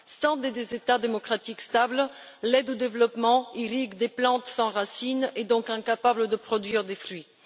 Sans États démocratiques stables, l'aide au développement irrigue des plantes sans racine et donc incapables de produire des fruits.